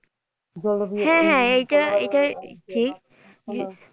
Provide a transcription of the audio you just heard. হ্যাঁ হ্যাঁ এইটা এইটা ঠিক যে,